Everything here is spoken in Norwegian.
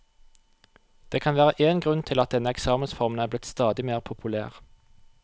Det kan være én grunn til at denne eksamensformen er blitt stadig mer populær.